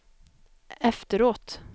efteråt